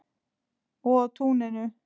Og á túninu.